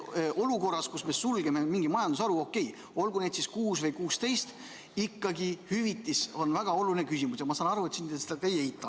Olukorras, kus me sulgeme mingi majandusharu – okei, olgu neid siis kuus või 16 –, ikkagi hüvitis on väga oluline küsimus ja ma saan aru, et te seda ei eita.